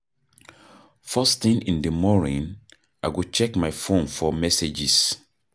First thing in di morning, I go check my phone for messages.